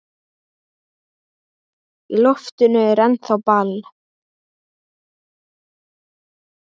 Í loftinu er ennþá ball.